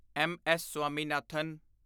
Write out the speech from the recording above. M S Swaminathan